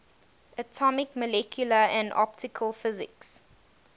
atomic molecular and optical physics